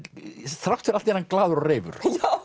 þrátt fyrir allt er hann glaður og reifur